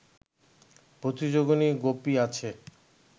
প্রতিযোগিনী গোপী আছে